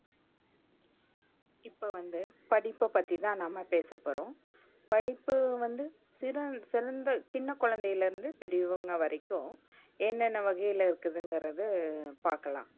இப்போ வந்து படிப்ப பத்திதான் நம்ம பேசப்போறோம். படிப்பு வந்து சிறுகுழந்தை சின்ன குழந்தைல இருந்து பெரியவங்க வரைக்கும் என்னன்னா வகைல இருக்குததுங்குறத பாக்கலாம்.